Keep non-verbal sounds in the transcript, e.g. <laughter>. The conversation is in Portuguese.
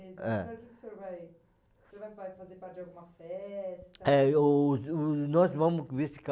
É. <unintelligible> que o senhor vai... o senhor ainda vai fazer parte de alguma festa? É, eu eu, nós vamos